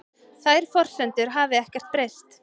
Þær forsendur hafi ekkert breyst